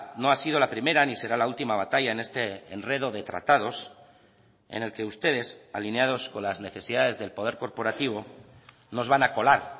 no ha sido la primera ni será la última batalla en este enredo de tratados en el que ustedes alineados con las necesidades del poder corporativo nos van a colar